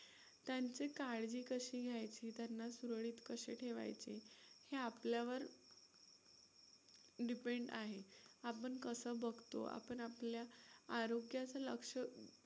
त्यांचे काळजी कशी घ्यायची, त्यांना सुरळीत कसे ठेवायचे हे आपल्यावर depend आहे. आपण कसं बघतो, आपण आपल्या आरोग्याचं लक्ष